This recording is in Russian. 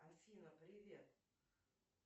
афина привет